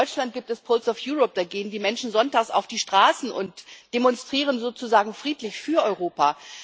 In Deutschland gibt es Pulse of Europe da gehen die Menschen sonntags auf die Straßen und demonstrieren sozusagen friedlich für Europa.